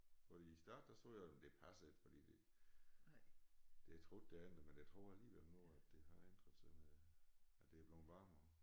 Fordi i æ start der troede jeg jamen det passer ikke fordi det det troede jeg ikke men jeg tror alligevel nu at det har ændret sig med at det er blevet varmere